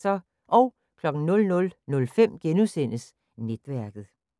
00:05: Netværket *